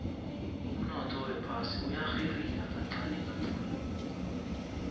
umnotho wephasi uyarhirika kancani kancani